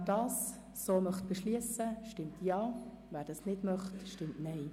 Wer das so beschliessen möchte, stimmt Ja, wer das nicht möchte, stimmt Nein.